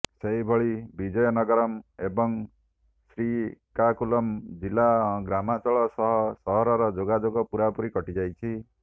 ସେହିଭଳି ବିଜୟନଗରମ୍ ଏବଂ ଶ୍ରୀକାକୁଲମ୍ ଜିଲ୍ଲାର ଗ୍ରାମାଞ୍ଚଳ ସହ ସହରର ଯୋଗାଯୋଗ ପୂରାପୂରି କଟି ଯାଇଛି